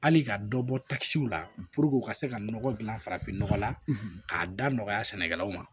Hali ka dɔ bɔ takisiw la u ka se ka nɔgɔ dilan farafinnɔgɔ la k'a da nɔgɔya sɛnɛkɛlaw ma